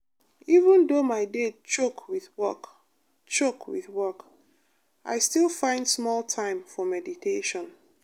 even though my day choke with work choke with work i still find small time for meditation.